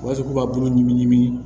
U b'a fɔ k'u ka bulu ɲimi